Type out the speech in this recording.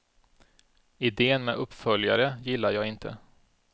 Idén med uppföljare gillar jag inte.